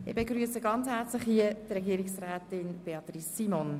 Ich begrüsse Frau Regierungsrätin Simon ganz herzlich.